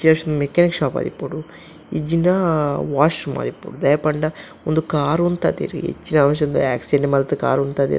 Mechanic shop ಆದಿಪ್ಪುಡು ಇಜ್ಜಿಂಡ washroom ಆದಿಪ್ಪೊಡು ದಾಯೆ ಪಂಡ ಉಂದು ಕಾರ್ ಉಂತದೆರ್ ಎಂಚಿನ ಅವಶ್ಯ ಆಕ್ಸಿಡೆಂಟ್ ಮಂತ್ ಕಾರ್ ಉಂತಾದೆರಾ.